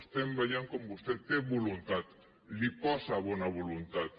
estem veient com vostè té voluntat hi posa bona voluntat